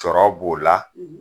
Cɔɔrɔ b'o la